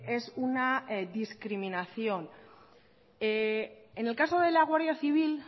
es una discriminación en el caso de la guardia civil